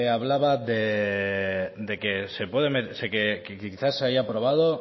hablaba de que quizá se haya aprobado